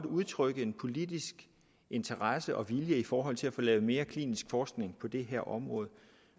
udtrykke en politisk interesse og vilje i forhold til at få lavet mere klinisk forskning på det her område